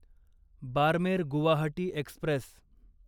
Barmer Guwahati Express